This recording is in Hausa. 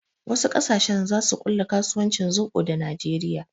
Wasu ƙasashen zasu ƙulla kasuwancin zoɓo da najeriya